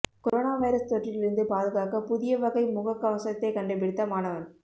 corona virus தொற்றிலிருந்து பாதுகாக்க புதிய வகை முகக் கவசத்தைக் கண்டுபிடித்த மாணவன்